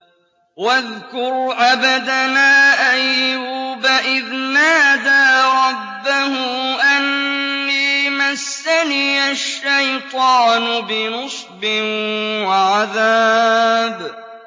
وَاذْكُرْ عَبْدَنَا أَيُّوبَ إِذْ نَادَىٰ رَبَّهُ أَنِّي مَسَّنِيَ الشَّيْطَانُ بِنُصْبٍ وَعَذَابٍ